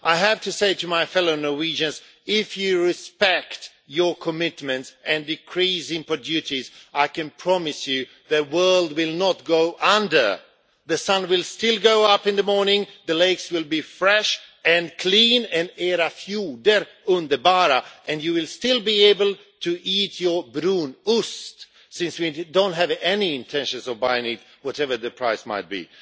I have to say to my fellow Norwegians, that if you respect your commitments and decrease import duties, I can promise you that the world will not go under. The sun will still rise in the morning. The lakes will be fresh and clean era fjorder underbara and you will still be able to eat your brunost since we have do not have any intention of buying it, whatever the price might be.